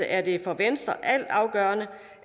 er det for venstre altafgørende